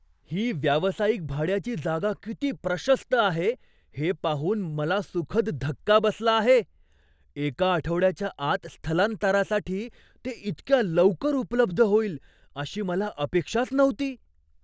ही व्यावसायिक भाड्याची जागा किती प्रशस्त आहे हे पाहून मला सुखद धक्का बसला आहे. एका आठवड्याच्या आत स्थलांतरासाठी ते इतक्या लवकर उपलब्ध होईल अशी मला अपेक्षाच नव्हती!